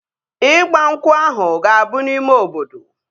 Ịgba nkwụ ahụ ga-abụ n'ime obodo